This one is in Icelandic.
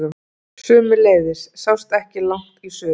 Sömuleiðis sást ekki langt í suður.